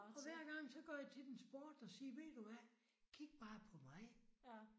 Og hver gang så går jeg til den sport og siger ved du hvad? Kig bare på mig